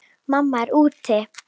Mamma er úti.